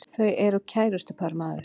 Þau eru kærustupar maður!